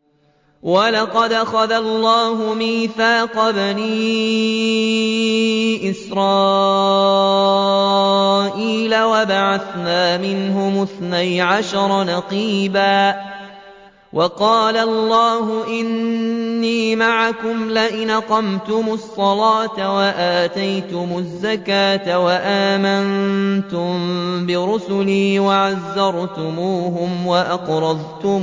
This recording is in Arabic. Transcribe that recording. ۞ وَلَقَدْ أَخَذَ اللَّهُ مِيثَاقَ بَنِي إِسْرَائِيلَ وَبَعَثْنَا مِنْهُمُ اثْنَيْ عَشَرَ نَقِيبًا ۖ وَقَالَ اللَّهُ إِنِّي مَعَكُمْ ۖ لَئِنْ أَقَمْتُمُ الصَّلَاةَ وَآتَيْتُمُ الزَّكَاةَ وَآمَنتُم بِرُسُلِي وَعَزَّرْتُمُوهُمْ وَأَقْرَضْتُمُ